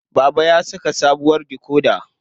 Baba ya saka sabuwar dikoda.